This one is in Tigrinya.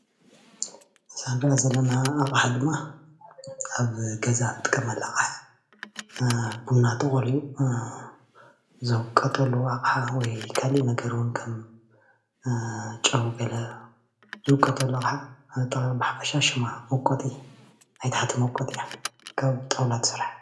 እዛ እንሪኣ ዘለና ኣቅሓ ድማ ኣብ ገዛ እንጥቀመላ ኣቅሓ እያ፣ ቡና ተቀልዩ ዝውቀጠሉ ኣቅሓ ወይ ካሊእ ነገር እውን ከም ጨው ገለ ዝውቀጠሉ ኣቅሓ ብኣጠቃሊ ብሓፈሻ ሽማ መውቀጢ ናይ ታሕቲ መውቀጢእያ ካብ ጣውላ ዝተሰርሐ ፡፡